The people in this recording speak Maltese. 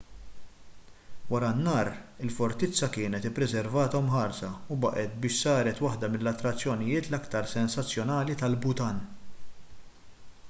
wara n-nar il-fortizza kienet ippreservata u mħarsa u baqgħet biex saret waħda mill-attrazzjonijiet l-aktar sensazzjonali tal-bhutan